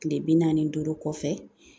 Tile bi naani ni duuru kɔfɛ